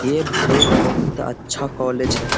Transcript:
ये एक बोहुत अच्छा कॉलेज है।